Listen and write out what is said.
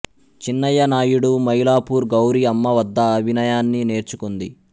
చిన్నయ్య నాయుడు మైలాపూర్ గౌరి అమ్మ వద్ద అభినయాన్ని నేర్చుకుంది